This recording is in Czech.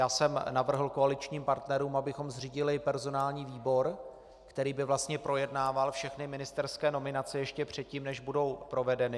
Já jsem navrhl koaličním partnerům, abychom zřídili personální výbor, který by vlastně projednával všechny ministerské nominace ještě předtím, než budou provedeny.